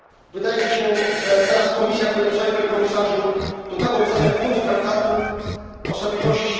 Wydaje mi się, że teraz Komisja powinna przedstawić, Panie Komisarzu, dokładną ocenę wpływu traktatu o stabilności.